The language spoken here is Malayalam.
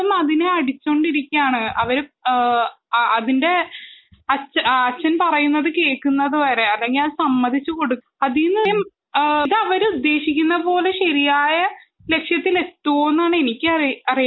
എന്നിട്ടും അതിനെ അടിച്ചുകൊണ്ടിരിക്കയാണ് അവര് അതിന്റെ അച്ഛൻ പറയുന്നത് കേൾക്കുന്നത് വരെ അല്ലെങ്കിൽ അവർ ഉദ്ദേശിക്കുന്നത്പോലെ ശരിയായ ലക്ഷ്യത്തിൽ എത്തുമോന്ന് എനിക്ക് അറിയാൻ പാടില്ല